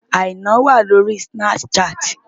Àìná wà lórí Snapchat.